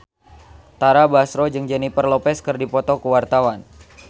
Tara Basro jeung Jennifer Lopez keur dipoto ku wartawan